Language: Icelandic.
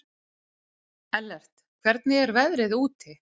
Ellert, hvernig er veðrið úti?